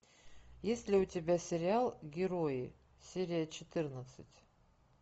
есть ли у тебя сериал герои серия четырнадцать